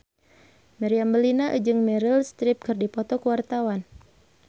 Meriam Bellina jeung Meryl Streep keur dipoto ku wartawan